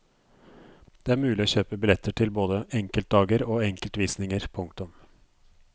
Det er mulig å kjøpe billetter til både enkeltdager og enkeltvisninger. punktum